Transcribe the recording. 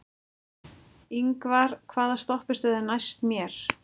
Yngvar, hvaða stoppistöð er næst mér?